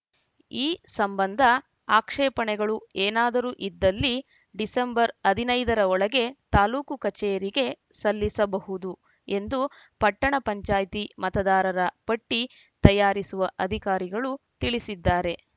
ಈ ಸಂಬಂಧ ಆಕ್ಷೇಪಣೆಗಳು ಏನಾದರೂ ಇದ್ದಲ್ಲಿ ಡಿಸೆಂಬರ್‌ ಹದಿನೈದರ ಒಳಗೆ ತಾಲೂಕು ಕಚೇರಿಗೆ ಸಲ್ಲಿಸಬಹುದು ಎಂದು ಪಟ್ಟಣ ಪಂಚಾಯ್ತಿ ಮತದಾರರ ಪಟ್ಟಿತಯಾರಿಸುವ ಅಧಿಕಾರಿಗಳು ತಿಳಿಸಿದ್ದಾರೆ